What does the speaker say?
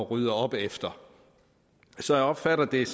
rydde op efter så jeg opfatter det